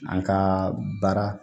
An ka baara